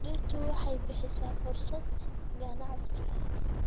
Dhirtu waxay bixisaa fursad ganacsi.